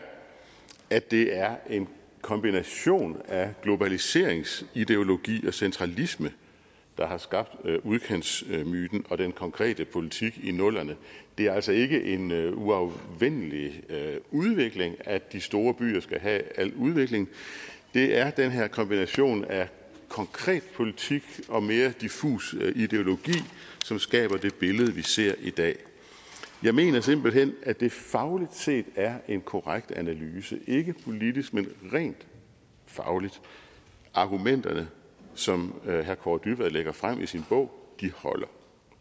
at det er en kombination af globaliseringsideologi og centralisme der har skabt udkantsmyten og den konkrete politik i nullerne det er altså ikke en uafvendelig udvikling at de store byer skal have al udvikling det er den her kombination af konkret politik og mere diffus ideologi som skaber det billede vi ser i dag jeg mener simpelt hen at det fagligt set er en korrekt analyse ikke politisk men rent fagligt argumenterne som herre kaare dybvad lægger frem i sin bog holder